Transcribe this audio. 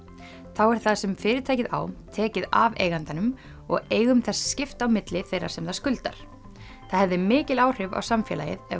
þá er það sem fyrirtækið á tekið af eigandanum og eigum þess skipt á milli þeirra sem það skuldar það hefði mikil áhrif á samfélagið ef